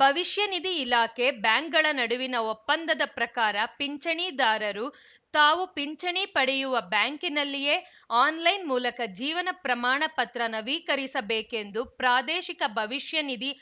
ಭವಿಷ್ಯ ನಿಧಿ ಇಲಾಖೆ ಬ್ಯಾಂಕ್‌ಗಳ ನಡುವಿನ ಒಪ್ಪಂದದ ಪ್ರಕಾರ ಪಿಂಚಣಿದಾರರು ತಾವು ಪಿಂಚಣಿ ಪಡೆಯುವ ಬ್ಯಾಂಕಿನಲ್ಲಿಯೇ ಆನ್‌ಲೈನ್‌ ಮೂಲಕ ಜೀವನ ಪ್ರಮಾಣ ಪತ್ರ ನವೀಕರಿಸಬೇಕೆಂದು ಪ್ರಾದೇಶಿಕ ಭವಿಷ್ಯ ನಿಧಿ